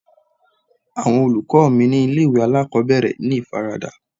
Àwọn olùkọ́ mi ni ilé ìwé alákòbẹ̀rẹ̀ ní ìfaradà.